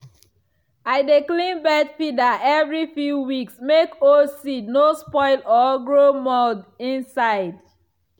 i dey clean bird feeder every few weeks make old seed no spoil or grow mould inside.